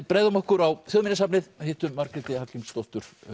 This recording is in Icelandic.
bregðum okkur á Þjóðminjasafnið og hittum Margréti Hallgrímsdóttur